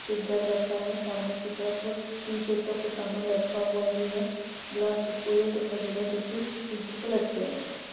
एक बैग रखा है। सामने की तरफ टीन शेड पे कुछ सामान लटका हुआ भी है। ग्लास डिस्पोज़ल दिखाई दे रहे है जो कि टीन शेड पे लटके हुए हैं।